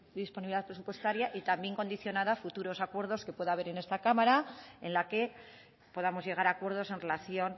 disponibilidad presupuestaria y también condicionará futuros acuerdo que pueda haber en esta cámara en la que podamos llegar a acuerdos en relación